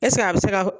a bɛ se ka